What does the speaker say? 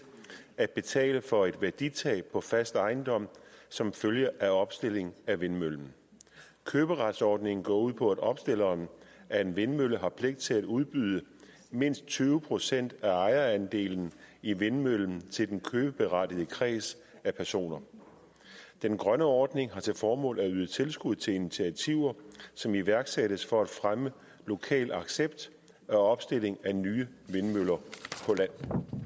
at betale for et værditab på fast ejendom som følge af opstilling af vindmøllen køberetsordningen går ud på at opstilleren af en vindmølle har pligt til at udbyde mindst tyve procent af ejerandelen i vindmøllen til den købeberettigede kreds af personer den grønne ordning har til formål at yde tilskud til initiativer som iværksættes for at fremme lokal accept af opstilling af nye vindmøller